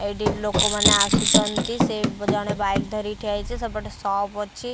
ଏଇଠି ଲୋକମାନେ ଆସୁଛନ୍ତି ସେ ଜଣେ ବାଇକ୍‌ ଧରିକି ଠିଆ ହେଇଛି ସେପଟେ ସପ୍‌ ଅଛି।